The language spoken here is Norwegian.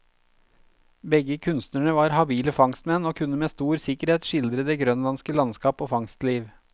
Begge kunstnerne var habile fangstmenn, og kunne med stor sikkerhet skildre det grønlandske landskap og fangstliv.